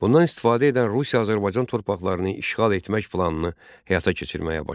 Bundan istifadə edən Rusiya Azərbaycan torpaqlarını işğal etmək planını həyata keçirməyə başladı.